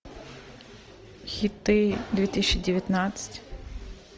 хиты две тысячи девятнадцать